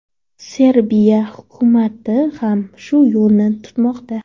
Serbiya hukumati ham shu yo‘lni tutmoqda.